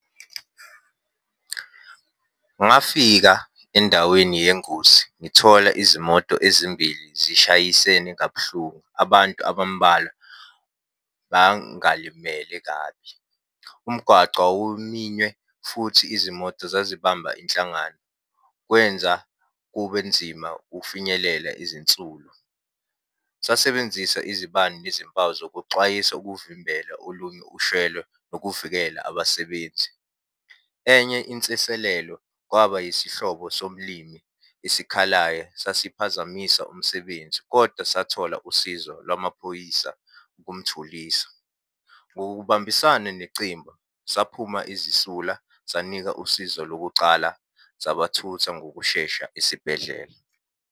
Ngafika endaweni yengozi, ngithola izimoto ezimbili zishayisene kabuhlungu, abantu abambalwa bangalimele kabi. Umgwaco wawuminywe, futhi izimoto zazibamba inhlangano. Kwenza kube nzima ukufinyelela izinsulu. Sasebenzisa izibani nezimpawu zokuxwayisa ukuvimbela olunye ushayelo, nokuvikela abasebenzi. Enye insiselelo kwaba yisihlobo somlimi esikhalayo sasiphazamisa umsebenzi, koda sathola usizo lwamaphoyisa ukumthulisa. Ngokubambisana necimba, saphuma izisula, sanika usizo lokucala sabathutha ngokushesha esibhedlela.